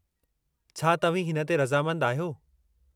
छा तव्हीं हिन ते रज़ामंदु आहियो?